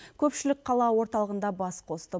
көпшілік қала орталығында бас қосты